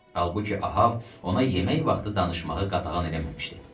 Halbuki Ahab ona yemək vaxtı danışmağı qadağan eləməmişdi.